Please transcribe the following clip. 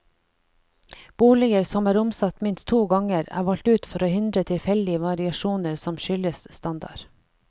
Boliger som er omsatt minst to ganger, er valgt ut for å hindre tilfeldige variasjoner som skyldes standard.